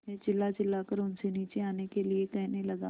मैं चिल्लाचिल्लाकर उनसे नीचे आने के लिए कहने लगा